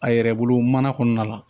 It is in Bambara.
A yɛrɛ bolo mana kɔɔna la